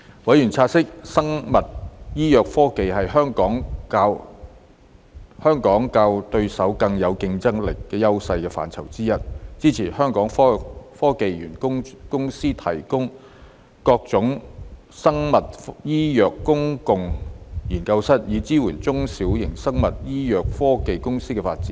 委員察悉，生物醫藥科技是香港較對手更具競爭優勢的範疇之一，支持香港科技園公司提供各種生物醫藥公共研究室，以支援小型生物醫藥科技公司的發展。